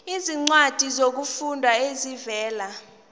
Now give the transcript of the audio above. izincwadi zokufunda ezivela